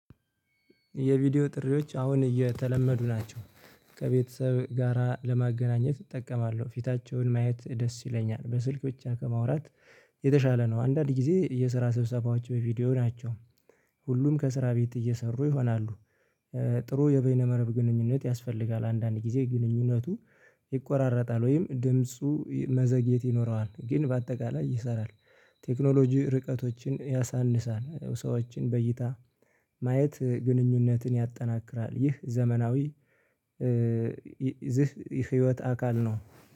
የቪዲዮ ጥሪዎች አሁን እየተለመዱ ናቸው። ከቤተሰብ ጋራ ለማገናኘት እጠቀማለሁ ፊታቸውን ማየት ደስ ይለኛል በስልክ ብቻ ከማውራት የተሻለ ነው። አንዳንድ ጊዜ የስራ ሰብሰባዎች በቪዲዮ ናቸው። ሁሉም ከስራ ቤት እየሰሩ ይሆናሉ። ጥሩ የበይነ መረብ ግንኙነት ያስፈልጋል። አንዳንድ ጊዜ ግንኙነቱ። ይቆራረጣል ወይም ድምፁ መዘግየት ይኖረዋል ግን በአጠቃላይ ይሰራል። ቴክኖሎጂ ርቀቶችን ያሳንሳል ሰዎችን በይታ ማየት ግንኙነትን ያጠናክራል። ይህ ዘመናዊ። ይህ ህይወት አካል ነው